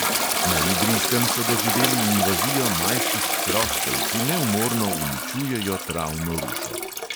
Na idrijskem so doživeli invazijo majskih hroščev, ki neumorno uničujejo travno rušo.